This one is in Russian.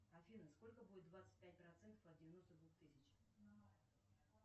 афина сколько будет двадцать пять процентов от девяносто двух тысяч